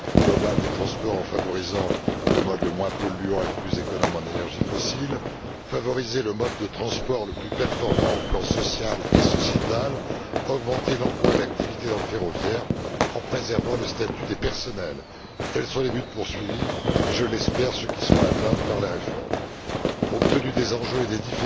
global des transports en favorisant le mode le moins polluant et le plus économe en énergie fossile, favoriser le mode de transport le plus performant au plan social et sociétal, augmenter l'emploi et l'activité dans le ferroviaire, en préservant le statut des personnels, tels sont les buts poursuivis et, je l'espère, ceux qui seront atteints par les réformes. Compte tenu des enjeux et des